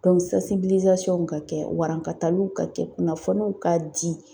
ka kɛ warankataliw ka kɛ kunnafoniw ka di.